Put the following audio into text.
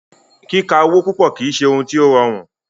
Kíka owo púpọ̀ kìí ṣe òhún tí o rọrùn.